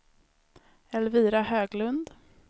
Elvira Höglund